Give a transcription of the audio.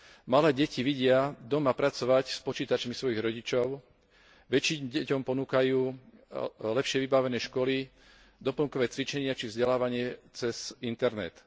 Malé deti vidia doma pracovať s počítačmi svojich rodičov, väčším deťom ponúkajú lepšie vybavené školy doplnkové cvičenia či vzdelávanie cez internet.